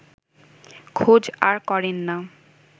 খোঁজ আর করেন না